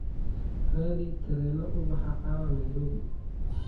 raadi tareeno u baxa caawa nairobi